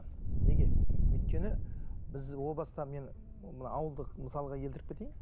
неге өйткені біз о баста мен мына ауылдық мысалға келтіріп кетейін